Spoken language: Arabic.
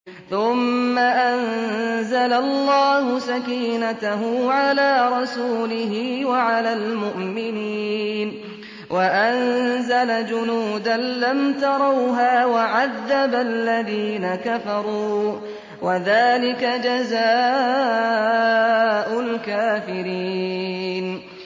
ثُمَّ أَنزَلَ اللَّهُ سَكِينَتَهُ عَلَىٰ رَسُولِهِ وَعَلَى الْمُؤْمِنِينَ وَأَنزَلَ جُنُودًا لَّمْ تَرَوْهَا وَعَذَّبَ الَّذِينَ كَفَرُوا ۚ وَذَٰلِكَ جَزَاءُ الْكَافِرِينَ